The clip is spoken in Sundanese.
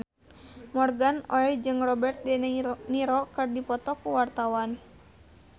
Morgan Oey jeung Robert de Niro keur dipoto ku wartawan